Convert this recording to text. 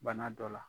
Bana dɔ la